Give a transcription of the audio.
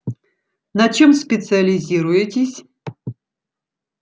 на чем специализируетесь